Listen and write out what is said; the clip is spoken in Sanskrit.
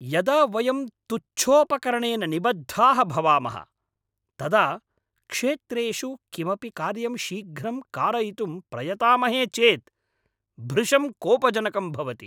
यदा वयं तुच्छोपकरणेन निबद्धाः भवामः, तदा क्षेत्रेषु किमपि कार्यं शीघ्रं कारयितुं प्रयतामहे चेद् भृशं कोपजनकं भवति।